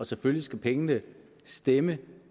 selvfølgelig skal pengene stemme